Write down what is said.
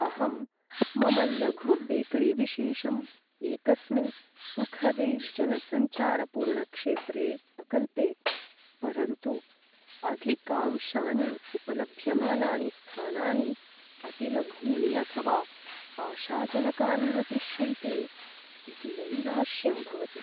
अहं, मम लघुबेकरीविशेषं एकस्मिन् सुखदे जनसञ्चारपूर्णक्षेत्रे अकल्पे, परन्तु अधिकांशानि उपलभ्यमानानि स्थानानि अतिलघूनि अथवा आशाजनकानि न दृश्यन्ते इति नैराश्यं भवति।